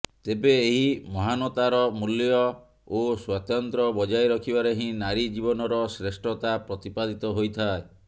ତେବେ ଏହି ମହାନତାର ମୂଲ୍ୟ ଓ ସ୍ୱାତନ୍ତ୍ର୍ୟ ବଜାୟ ରଖିବାରେ ହିଁ ନାରୀ ଜୀବନର ଶ୍ରେଷ୍ଠତା ପ୍ରତିପାଦିତ ହୋଇଥାଏ